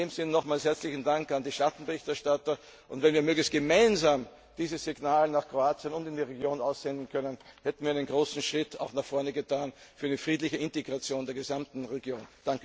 In diesem Sinne nochmals herzlichen Dank an die Schattenberichterstatter. Und wenn wir möglichst gemeinsam dieses Signal nach Kroatien und in die Region aussenden können, hätten wir einen großen Schritt nach vorne getan für eine friedliche Integration der gesamten Region.